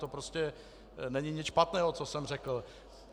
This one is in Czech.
To prostě není nic špatného, co jsem řekl.